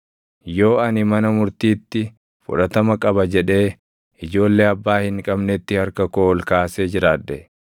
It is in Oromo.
yoo ani mana murtiitti fudhatama qaba jedhee ijoollee abbaa hin qabnetti harka koo ol kaasee jiraadhe,